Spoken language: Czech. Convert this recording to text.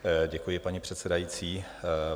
Děkuji, paní předsedající.